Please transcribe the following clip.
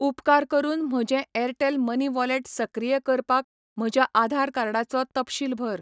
उपकार करून म्हजें एअरटेल मनी वॉलेट सक्रिय करपाक म्हज्या आधार कार्डाचो तपशील भर.